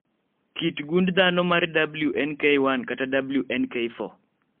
kit gund dhano mar WNK1 kata WNK4